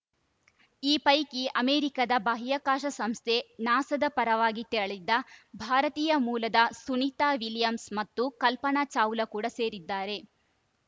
ಈ ಪೈಕಿ ಅಮೆರಿಕದ ಬಾಹ್ಯಾಕಾಶ ಸಂಸ್ಥೆ ನಾಸಾದ ಪರವಾಗಿ ತೆರಳಿದ್ದ ಭಾರತೀಯ ಮೂಲದ ಸುನಿತಾ ವಿಲಿಯಮ್ಸ್‌ ಮತ್ತು ಕಲ್ಪನಾ ಚಾವ್ಲಾ ಕೂಡಾ ಸೇರಿದ್ದಾರೆ